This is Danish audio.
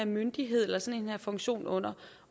myndighed eller sådan en funktion under